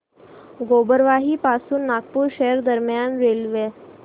गोबरवाही पासून नागपूर शहर दरम्यान रेल्वे